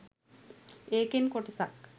ඒකෙන් කොටසක්